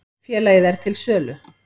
Félagið er til sölu.